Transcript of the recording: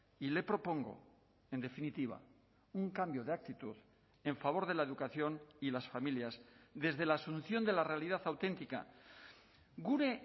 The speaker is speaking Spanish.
y le propongo en definitiva un cambio de actitud en favor de la educación y las familias desde la asunción de la realidad auténtica gure